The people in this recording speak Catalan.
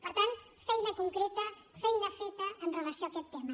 per tant feina concreta feina feta amb relació a aquest tema